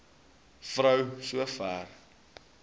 vrou so ver